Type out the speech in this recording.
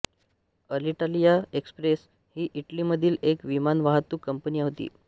Alitalia express ही इटलीमधील एक विमानवाहतूक कंपनी होती